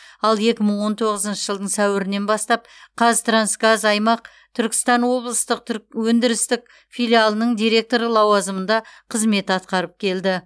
ал екі мың он тоғызыншы жылдың сәуірінен бастап қазтрансгаз аймақ түркістан облыстық түрк өндірістік филиалының директоры лауазымында қызмет атқарып келді